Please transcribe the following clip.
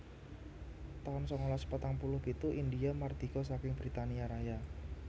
taun sangalas patang puluh pitu Indhia mardika saking Britania Raya